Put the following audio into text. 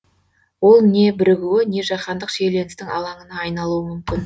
ол не бірігуі не жаһандық шиеленістің алаңына айналуы мүмкін